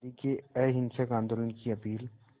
गांधी के अहिंसक आंदोलन की अपील